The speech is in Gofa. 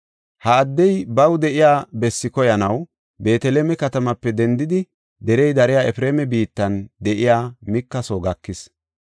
Ha addey baw de7iya bessi koyanaw Beeteleme katamaape dendidi derey dariya Efreema biittan de7iya Mika soo gakis.